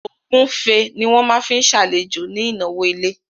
Ògúnfe ni wọ́n máa fi ṣàlejò ní ìnáwó ilé